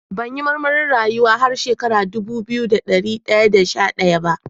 Ban yi marmarin rayu har shekara dubu biyu da dari da sha daya ba.